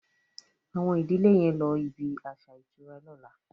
Awon ìdílè yén ló ibí aṣa ìtura lọ̀la